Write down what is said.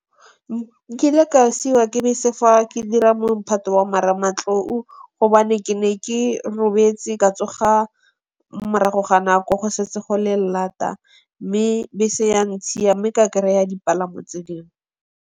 Nkile ka siwa ke bese fa ke dira mophato wa Marematlou gobane ke ne ke robetse, ka tsoga morago ga nako go setse go le lata. Mme bese ya ntshiya mme ka kry-a dipalamo tse dingwe.